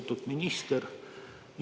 Lugupeetud minister!